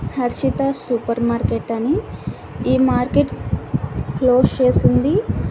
Harshita supermarket అని ఈ market close చేసుంది.